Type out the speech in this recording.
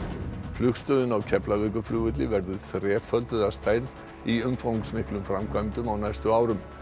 flugstöðin á Keflavíkurflugvelli verður þrefölduð að stærð í umfangsmiklum framkvæmdum á næstu árum